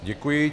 Děkuji.